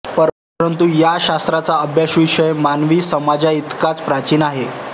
परंतु या शास्त्राचा अभ्यासविषय मानवी समाजाइतकाच प्राचीन आहे